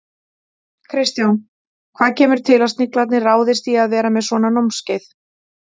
Kristján, hvað kemur til að Sniglarnir ráðist í að vera með svona námskeið?